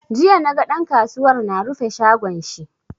Jiya naga ɗan kasuwar na rufe shagon shi.